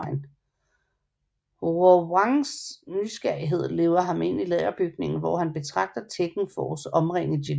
Hwoarangs nysgerrighed leder ham ind i lagerbygningen hvor han betragter Tekken Force omringe Jin